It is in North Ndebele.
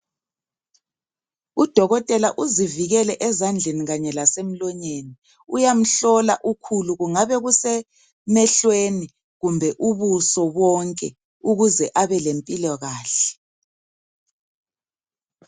Udokotela uzivikele ezandleni kanye lasemlonyeni, uyamhlola ukhulu kungabe kusemehlweni kumbe ubuso bonke ukuze abelempilakahle.